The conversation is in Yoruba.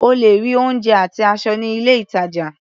O lè rí oúnjẹ àti aṣọ ní ilé-ìtàjà.